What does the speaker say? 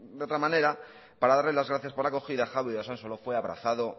de otra manera para darle las gracias por la acogida javi de usansolo fue abrazado